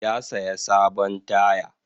Ya saya sabon taya.